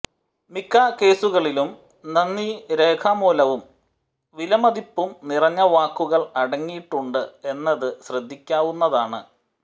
മിക്ക കേസുകളിലും നന്ദി രേഖാമൂലവും വിലമതിപ്പും നിറഞ്ഞ വാക്കുകൾ അടങ്ങിയിട്ടുണ്ട് എന്നത് ശ്രദ്ധിക്കാവുന്നതാണ്